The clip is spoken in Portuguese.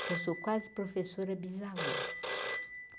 Já sou quase professora bisavó.